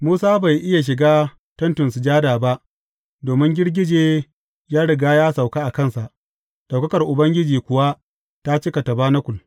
Musa bai iya shiga Tentin Sujada ba domin girgije ya riga ya sauka a kansa, ɗaukakar Ubangiji kuwa ta cika tabanakul.